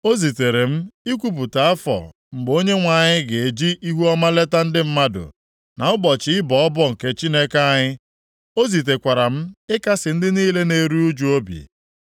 O zitere m ikwupụta afọ mgbe Onyenwe anyị ga-eji ihuọma leta ndị mmadụ, na ụbọchị ịbọ ọbọ nke Chineke anyị. O zitekwara m ịkasị ndị niile na-eru ụjụ obi,